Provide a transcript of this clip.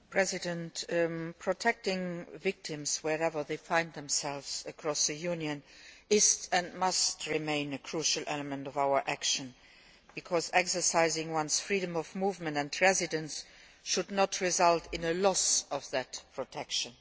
Madam President, protecting victims, wherever they find themselves across the Union, is and must remain a crucial element of our action, because exercising one's freedom of movement and residence should not result in a loss of that protection.